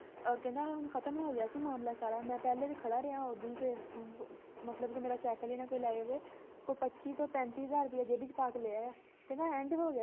ਕਹਿੰਦਾ ਹੁਣ ਖਤਮ ਹੋ ਗਿਆ ਸੀ ਮਾਮਲਾ ਸਾਰਾ ਮੈਂ ਪਹਿਲੇ ਵੀ ਖੜਾ ਰਿਹਾਂ ਓਦਣ ਤੇ ਮਤਲਬ ਕੇ ਮੇਰਾ ਸਾਈਕਲ ਹੀ ਨਾਂ ਕੋਈ ਲੈ ਜਾਵੇ ਉਹ ਪੱਚੀ ਤੋਂ ਪੈਂਤੀ ਹਜਾਰ ਰੁਪਿਆ ਜੇਬੀ ਚ ਪਾ ਕੇ ਲੈ ਆਇਆ ਕਹਿੰਦਾ ਹੋ end ਗਿਆ ਸੀ